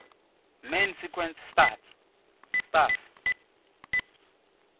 main sequence stars